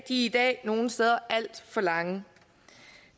i dag nogle steder alt for lange